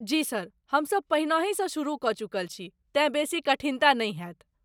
जी sir, हम सब पहिनहिसँ सुरुह कऽ चुकल छी, तेँ बेसी कठिनता नहि होयत।